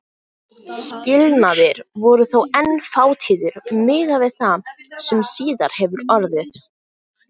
Skilnaðir voru þó enn fátíðir miðað við það sem síðar hefur orðið.